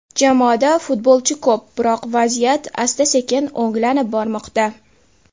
Jamoada futbolchi ko‘p, biroq vaziyat asta-sekin o‘nglanib bormoqda.